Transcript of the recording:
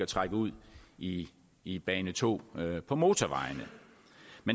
trække ud i i bane to på motorvejene